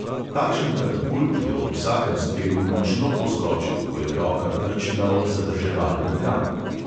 Takšen katapult je ob vsakem strelu močno poskočil, ko je roka trčila ob zadrževalni tram.